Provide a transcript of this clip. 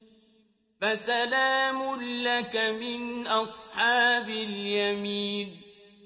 فَسَلَامٌ لَّكَ مِنْ أَصْحَابِ الْيَمِينِ